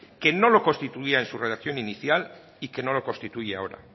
que no lo constituya en su redacción inicial y que no lo constituye ahora